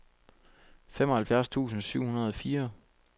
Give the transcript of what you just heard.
femoghalvfjerds tusind syv hundrede og fire